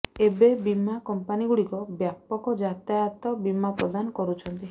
ଏବେ ବୀମା କଂପାନିଗୁଡ଼ିକ ବ୍ୟାପକ ଯାତାୟାତ ବୀମା ପ୍ରଦାନ କରୁଛନ୍ତି